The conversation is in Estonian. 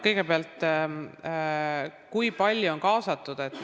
Kõigepealt, kui palju on kaasatud?